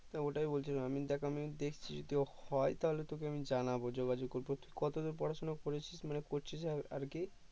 তো ওটাই বলছিলাম আমি দেখ আমি দেখছি যদি হয় তাহলে তোকে আমি জানাবো যোগাযোগ করবো তুই কত দূর পড়াশুনা করেছিস মানে করছিস আর কি